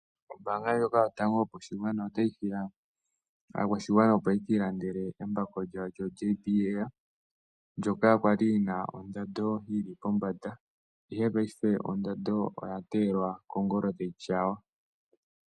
Ombaanga ndjoka yotango yopashigwana otayi hiya aakwashigwana opo ya ka ilandele embako lyawo lyo JBL. Ndoka kwali lina ondando yili pombanda, ihe paife ondando oya teyelwa kongolo tayi tyaywa.